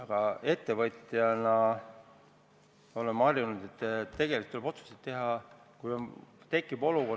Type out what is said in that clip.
Aga ettevõtjana me oleme harjunud, et tegelikult tuleb otsuseid teha siis, kui tekib olukord.